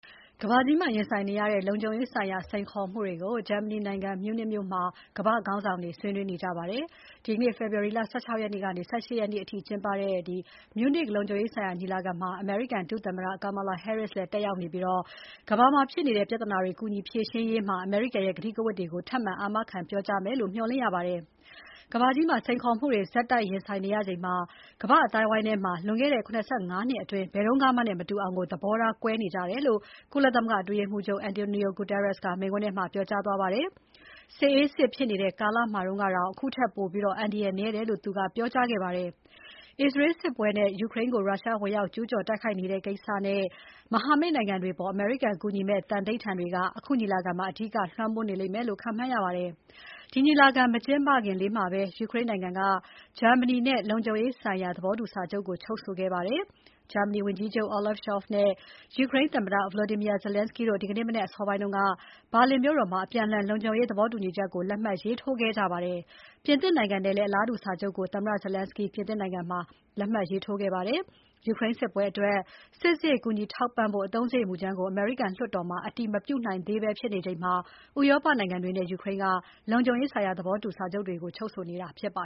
ကမ္ဘာကြီးမှာ ရင်ဆိုင်နေရတဲ့ လုံခြုံရေးဆိုင်ရာ စိန်ခေါ်မှုတွေကို ဂျာမနီနိုင်ငံ မြူးနစ်မြို့မှာ ကမ္ဘာ့ခေါင်းဆောင်တွေ ဆွေးနွေးနေကြပါတယ်။ ဒီနေ့ ဖေဖော်ဝါရီ ၁၆ ကနေ ၁၈ ရက်နေ့အထိ ကျင်းပနေတဲ့ မြူးနစ်လုံခြုံရေးဆိုင်ရာညီလာခံမှာ အမေရိကန်ဒုသမ္မတ Kamala Harris တက်ရောက်နေပြီး ကမ္ဘာမှာဖြစ်နေတဲ့ ပြဿနာကြီးတွေ ကူညီဖြေရှင်းရေးမှာ အမေရိကန်ရဲ့ ကတိကဝတ်တွေကို ထပ်မံ အာမခံပြောကြားမယ်လို့ မျှော်လင့်ရပါတယ်။ ကမ္ဘာမှာ စိန်ခေါ်မှုတွေ ဆက်တိုက်ရင်ဆိုင်နေရချိန် ကမ္ဘာ့အသိုင်းအဝိုင်းမှာ လွန်ခဲ့တဲ့ ၇၅ နှစ်အတွင်း ဘယ်တုန်းကမှနဲ့ မတူအောင် သဘောထားကွဲနေကြတယ်လို့ ကုလမဂ္ဂအတွင်းရေးမှူးချုပ် António Guterres က မိန့်ခွန်းထဲမှာ ပြောကြားသွားပါတယ်။ စစ်အေးစစ်ဖြစ်နေတဲ့ကာလမှာတုန်းကတောင် အခုထက် ပိုပြီး အန္တရာယ်နည်းတယ်လို့ သူကပြောကြားခဲ့ပါတယ်။ အစ္စရေးစစ်ပွဲနဲ့ ယူကရိန်းကို ရုရှားဝင်ရောက်ကျူးကျော်နေတဲ့ကိစ္စနဲ့ မဟာမိတ်နိုင်ငံတွေအပေါ် အမေရိကန်ကူညီမယ့် သန္နိဋ္ဌာန်တွေက အခုညီလာခံမှာ အဓိက လွှမ်းမိုးနေမယ်လို့ ခန့်မှန်းရပါတယ်။ ဒီညီလာခံ မကျင်းပခင်လေးမှာပဲ ယူကရိန်းနိုင်ငံက ဂျာမနီနဲ့ လုံခြုံရေးဆိုင်ရာ သဘောတူစာချုပ် ချုပ်ဆိုခဲ့ပါတယ်။ ဂျာမနီဝန်ကြီးချုပ် Olaf Scholz နဲ့ ယူကရိန်းသမ္မတ Volodymyr Zelensky တို့ ဒီနေ့မနက် အစောပိုင်းက ဘာလင်မြို့တော်မှာ အပြန်အလှန် လုံခြုံရေးသဘောတူစာချုပ်ကို လက်မှတ်ရေးထိုးခဲ့ကြပါတယ်။ ပြင်သစ်နိုင်ငံနဲ့လည်း အလားတူစာချုပ်ကို သမ္မတ Zelensky ပြင်သစ်နိုင်ငံမှာ လက်မှတ်ရေးထိုးခဲ့ပါတယ်။ ယူကရိန်းစစ်ပွဲအတွက် စစ်စရိတ်ကူညီထောက်ပံ့ဖို့ အသုံးစရိတ်မူကြမ်းကို အမေရိကန်လွှတ်တော်မှာ အတည်မပြုနိုင်သေးဘဲဖြစ်နေချိန်မှာ ဥရောပနိုင်ငံတွေနဲ့ ယူကရိန်းက လုံခြုံရေးဆိုင်ရာ သဘောတူညီစာချုပ်တွေ ချုပ်ဆိုနေတာဖြစ်ပါ